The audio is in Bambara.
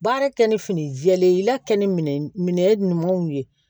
Baara kɛ ni fini jɛlen ye i la kɛ ni minɛ ɲumanw ye